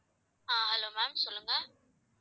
ஆஹ் hello ma'am சொல்லுங்க